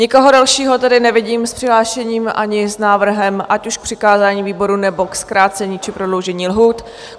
Nikoho dalšího tedy nevidím s přihlášením ani s návrhem ať už k přikázání výboru, nebo k zkrácení či prodloužení lhůt.